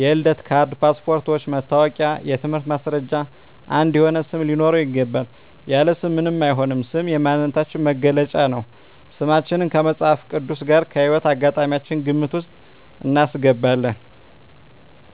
የልደት ካርድ ,ፓስፓርቶች ,መታወቂያ የትምህርት ማስረጃችን አንድ የሆነ ስም ሊኖረው ይገባል። ያለ ስም ምንም አይሆንም ስም የማንነታችን መገለጫ ነው። ስማችን ከመፅሀፍ ቅዱስ ጋር ከህይወት አጋጣሚያችን ግምት ውስጥ እናስገባለን